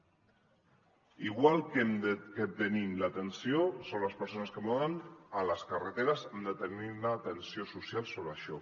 igual que tenim l’atenció sobre les persones que moren a les carreteres hem de tenir una atenció social sobre això